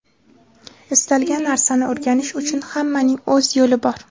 Istalgan narsani o‘rganish uchun hammaning o‘z yo‘li bor.